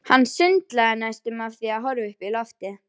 Og orð mín sameinast þessum hugsunum.